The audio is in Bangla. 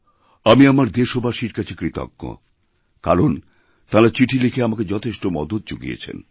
আমি আমার দেশবাসীর কাছে কৃতজ্ঞ কারণ তাঁরা চিঠি লিখে আমাকে যথেষ্ট মদতযুগিয়েছেন